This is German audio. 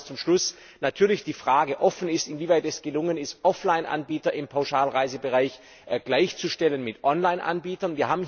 Und ich glaube, dass zum Schluss natürlich die Frage offen ist, inwieweit es gelungen ist, Offline Anbieter im Pauschalreisebereich gleichzustellen mit Online Anbietern.